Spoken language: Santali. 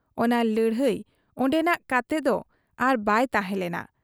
ᱚᱱᱟ ᱞᱟᱹᱲᱦᱟᱹᱭ ᱚᱱᱰᱮᱱᱟᱜ ᱠᱟᱛᱮᱫᱚ ᱟᱨᱵᱟᱭ ᱛᱟᱦᱮᱸ ᱞᱮᱱᱟ ᱾